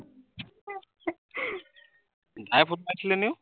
ভায়ে ফোন মাৰিছিলে নি অ